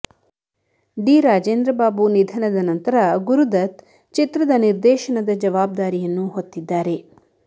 D Rajendra Babu ನಿಧನದ ನಂತರ ಗುರುದತ್ ಚಿತ್ರದ ನಿರ್ದೇಶನದ ಜವಾಬ್ದಾರಿಯನ್ನು ಹೊತ್ತಿದ್ದಾರೆ